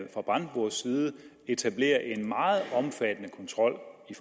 fra brandenburgs side etablerer en meget omfattende kontrol i